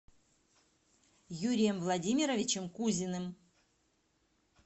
юрием владимировичем кузиным